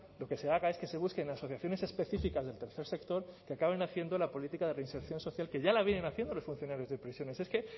lo que se da cada vez que se busquen asociaciones específicas del tercer sector que acaben haciendo la política de reinserción social que ya la vienen haciendo los funcionarios de prisiones es que